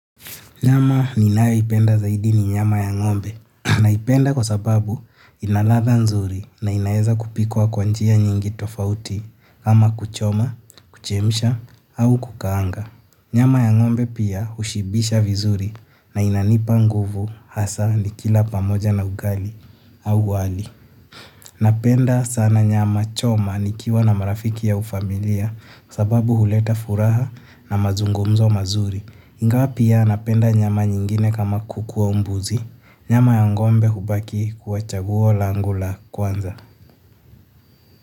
Nyama ninayoipenda zaidi ni nyama ya ng'ombe naipenda kwa sababu ina ladha nzuri na inaeza kupikwa kwa njia nyingi tofauti kama kuchoma, kuchemsha au kukaanga. Nyama ya ngombe pia ushibisha vizuri na inanipa nguvu hasa nikila pamoja na ugali au wali. Napenda sana nyama choma nikiwa na marafiki au familia sababu huleta furaha na mazungumzo mazuri. Ingawa pia napenda nyama nyingine kama kuku au mbuzi, nyama ya ng'ombe hubaki kuwa chaguo langu la kwanza.